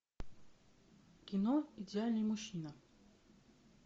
кино идеальный мужчина